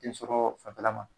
Den sɔrɔ fanfɛla ma